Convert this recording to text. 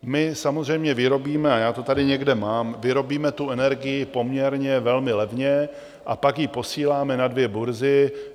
My samozřejmě vyrobíme, a já to tady někde mám, vyrobíme tu energii poměrně velmi levně a pak ji posíláme na dvě burzy.